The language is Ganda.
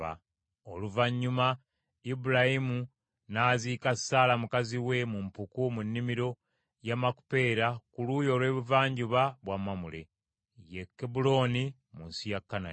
Oluvannyuma Ibulayimu n’aziika Saala mukazi we mu mpuku mu nnimiro ya Makupeera ku luuyi olw’ebuvanjuba bwa Mamule, ye Kebbulooni, mu nsi ya Kanani.